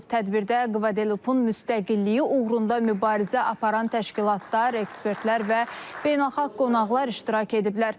Tədbirdə Kvadelupun müstəqilliyi uğrunda mübarizə aparan təşkilatlar, ekspertlər və beynəlxalq qonaqlar iştirak ediblər.